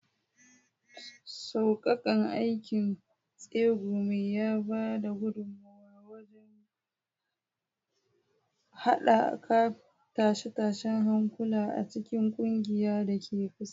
Sauƙaƙan aikin tsegumi ya ba da gudummawa wajen haɓaka tashe-tashen hankula a cikin ƙungiyar da ke kusa.